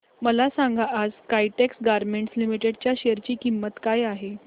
मला सांगा आज काइटेक्स गारमेंट्स लिमिटेड च्या शेअर ची किंमत काय आहे